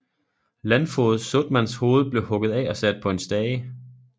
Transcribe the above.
Landfoged Soetmanns hoved blev hugget af og sat på en stage